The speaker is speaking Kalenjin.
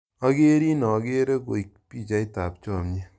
Akerin akere koi pichaiyat ap chomyet.